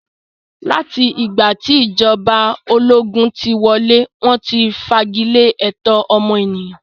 Láti ìgbà tí ìjọba ológun tí wọlé, wọ́n ti fagilé ẹ̀tọ́ ọmọnìyàn.